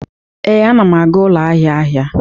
Ee, anam aga ụlọ ahịa ahịa.